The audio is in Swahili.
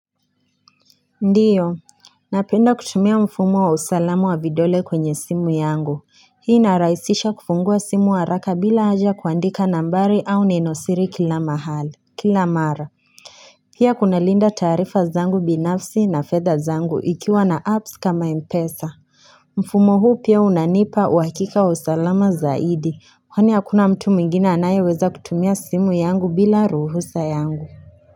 Ndiyo, napenda kutumia mfumo wa usalamu wa vidole kwenye simu yangu, hii inaraisisha kufungua simu haraka bila haja kuandika nambari au nenosiri kila mahali, kila mara pia kunalinda taarifa zangu binafsi na fedha zangu ikiwa na apps kama mpesa Mfumo huu pia unanipa uwakika wa usalama zaidi, kwani akuna mtu mwingine anaye weza kutumia simu yangu bila ruhusa yangu.